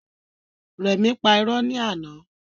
Rẹmi pà irọ́ ni àná